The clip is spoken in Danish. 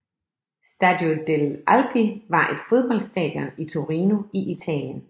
Stadio delle Alpi var et fodboldstadion i Torino i Italien